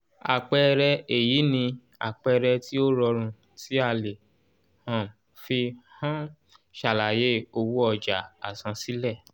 àpẹẹrẹ èyí ni àpẹẹrẹ tí ó rọrùn tí a lè um fi um ṣàlàyé owó ọjà àsansílẹ̀